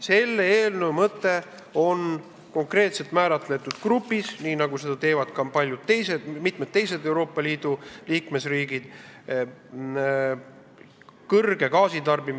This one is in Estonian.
Selle eelnõu mõte on konkreetselt määratletud grupi jaoks ehk siis intensiivse gaasitarbimisega ettevõtete jaoks gaasiaktsiisi langetamine.